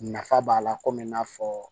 Nafa b'a la komi i n'a fɔ